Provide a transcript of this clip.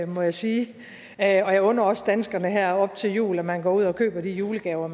må jeg sige og jeg under også danskerne her op til jul at man går ud og køber de julegaver